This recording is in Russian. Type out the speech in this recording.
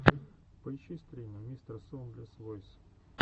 поищи стримы мистерсоундлесвойс